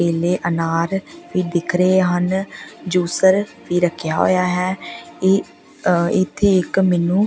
ਕੇਲੇ ਅਨਾਰ ਵੀ ਦਿੱਖ ਰਹੇ ਹਨ ਜੂਸਰ ਵੀ ਰੱਖਿਆ ਹੋਇਆ ਹੈ ਇਹ ਇੱਥੇ ਇੱਕ ਮੈਨੂੰ --